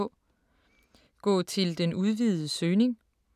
Gå til den udvidede søgning